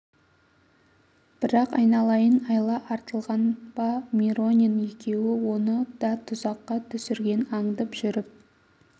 бірақ айналайын айла артылған ба миронин екеуі оны да тұзаққа түсірген аңдып жүріп